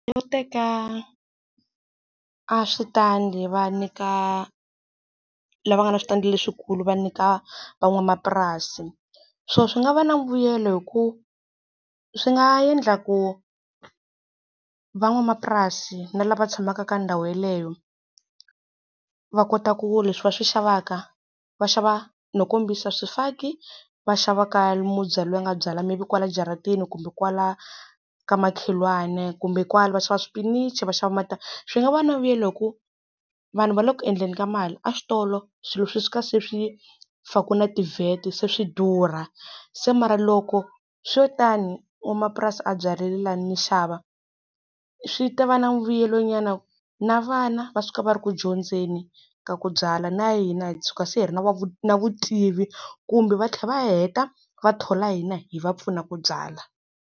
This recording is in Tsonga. Yo teka aswitandi va nyika lava nga na switandi leswikulu va nyika van'wamapurasi. Swona swi nga va na mbuyelo hikuva, swi nga endla ku van'wamapurasi na lava tshamaka ka ndhawu yeleyo, va kota ku leswi va swi xavaka va xava no kombisa swifaki, va xavaka mubyali loyi a nga byala maybe kwala jarateni kumbe kwala ka makhelwani, kumbe kwala va xava xipinichi va xava . Swi nga va vuyelo hikuva vanhu va le ku endleni ka mali. Aswitolo swilo swi suka se swi fakiwe na ti-VAT se swi durha. Se mara loko swi lo tani, n'wamapurasi a byarile lani ni xava, swi ta va na vuyelo nyana. Na vana va suka va ri ku dyondzeni ka ku byala, na hina hi suka se hi ri na na vutivi kumbe va tlhela va heta va thola hina hi va pfunaka byala.